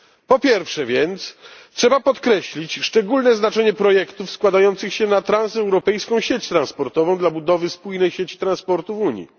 Po pierwsze więc, trzeba podkreślić szczególne znaczenie projektów składających się na transeuropejską sieć transportową dla budowy spójnej sieci transportu Unii.